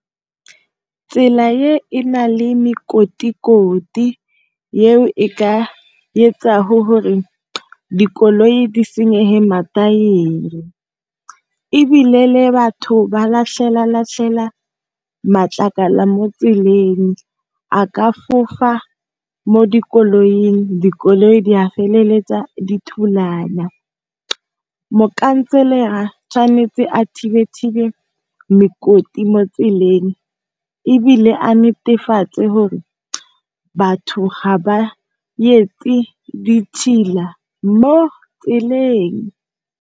Tsela e, enale mekotikoti eo e ka etsang hore dikoloi di senyege mathaere. Ebile le batho, ba latlhela latlhela matlakala mo tseleng a ka fofa mo dikoloing, dikoloi di a feleletsa di thulana. Mokhanselara tshwanetse a thibe thibe mekoti motseleng ebile, a netefatse gore batho ga ba etse ditšhila mo tseleng.